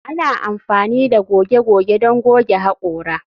Ana amfani da goge goge don goge haƙora